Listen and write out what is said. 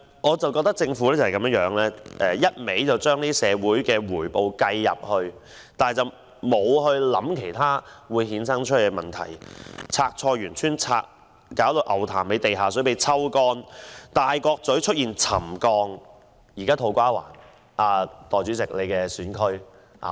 我覺得政府只是把社會回報計算在內，但沒有考慮可能會衍生的其他問題。例如，清拆菜園村、令牛潭尾地下水被抽乾、大角咀出現沉降等，現在土瓜灣也出現問題。